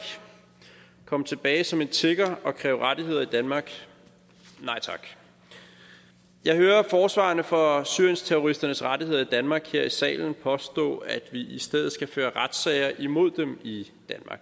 og komme tilbage som en tigger og kræve rettigheder i danmark nej tak jeg hører forsvarerne for syriensterroristernes rettigheder i danmark her i salen påstå at vi i stedet skal føre retssager imod dem i